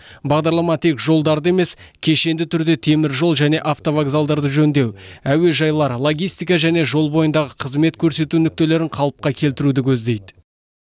бағдарлама тек жолдарды емес кешенді түрде теміржол және автовокзалдарды жөндеу әуежайлар логистика және жол бойындағы қызмет көрсету нүктелерін қалыпқа келтіруді көздейді